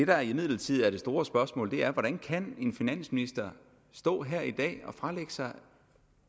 der imidlertid er det store spørgsmål er hvordan kan en finansminister stå her i dag og fralægge sig